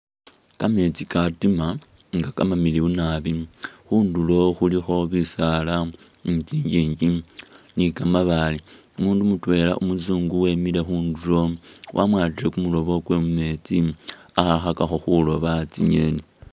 Kametsi katima nga kamamiliyu nambi khunduro khulikho bisala ni tsinyinji ni kamabale , umundu mutwela umuzungu emile khunduro wamwatile kumurobo kwe mumetsi ali khakhakakho khuroba tsinyeni .